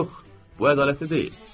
Yox, bu ədalətli deyil.